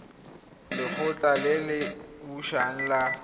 lekgotla le le busang la